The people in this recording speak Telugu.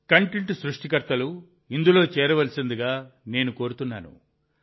కంటెంట్ సృష్టికర్తలు ఇందులో చేరవలసిందిగా నేను కోరుతున్నాను